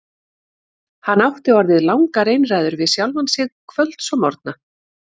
Hann átti orðið langar einræður við sjálfan sig kvölds og morgna.